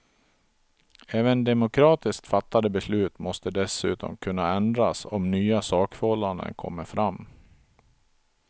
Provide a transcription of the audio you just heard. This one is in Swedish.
Även demokratiskt fattade beslut måste dessutom kunna ändras om nya sakförhållanden kommer fram.